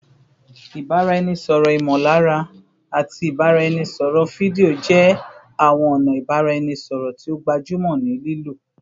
Ibaraẹnisọrọ imolara ati ibaraẹnisọrọ fidio jẹ awọn ọna ibaraẹnisọrọ ti o gbajumo ni lilo